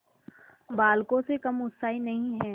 बालकों से कम उत्साही नहीं है